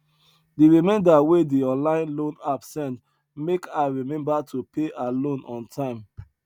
di reminder wey di online loan app send make her remember to pay her loan on time